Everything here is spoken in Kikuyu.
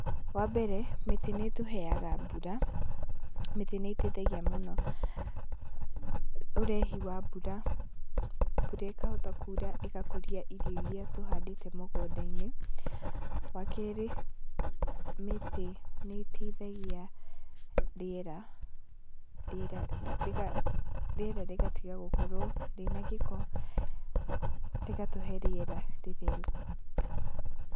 Wa mbere, mĩtĩ nĩ ĩtũheaga mbura, mĩtĩ nĩ ĩteithagia mũno ũrehi wa mbura, mbura ĩkahota kuura ĩgakũria irio iria tũhandĩte mũgũnda-inĩ. Wa keerĩ, mĩtĩ nĩ ĩteithagia rĩera , rĩera rĩgatiga gukorwo rĩna gĩko, rĩgatũhe rĩera rĩtheru.